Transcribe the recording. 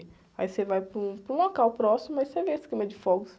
Aí você vai para um, para um local próximo e você vê essa queima de fogos.